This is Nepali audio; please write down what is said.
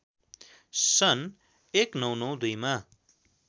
सन् १९९२ मा